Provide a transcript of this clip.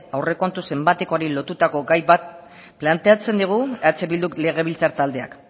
aurrekontu zenbatekoari lotutako gai bat planteatzen digu eh bilduk legebiltzar taldeak